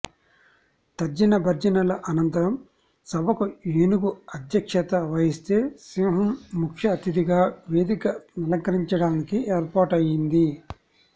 తర్జనభర్జనల అనంతరం సభకు ఏనుగు అధ్యక్షత వహిస్తే సింహం ముఖ్య అతిథిగా వేదిక నలంకరించడానికి ఏర్పాటయ్యింది